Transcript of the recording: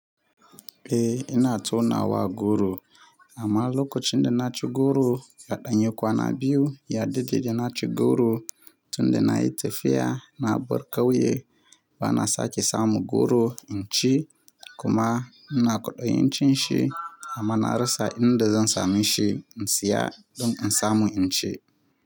Eh ina tonawa goro amma lokacin da na ci goro ya ɗan yi kwana biyu, ya daɗe da na ci goro tun da na yi tafiya na bar ƙauye bana sake samu goro in ci kuma ina kwaɗayin cin shi amma na rasa inda zan sami shi in siya don in samu in ci.